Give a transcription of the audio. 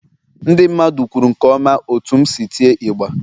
Ndị mmadụ kwuru nke ọma otú m si tịe ịgbà.